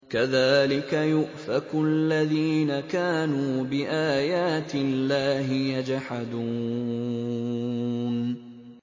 كَذَٰلِكَ يُؤْفَكُ الَّذِينَ كَانُوا بِآيَاتِ اللَّهِ يَجْحَدُونَ